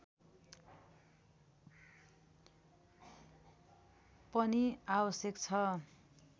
पनि आवश्यक छ